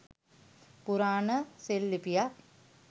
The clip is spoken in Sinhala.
පුරාණ සෙල් ලිපියක්